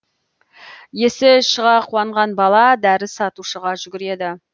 есі шыға қуанған бала дәрі сатушыға жүгіреді